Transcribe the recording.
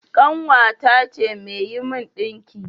Ƙanwata ce mai yi min ɗinki